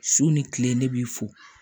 Su ni tile ne b'i fo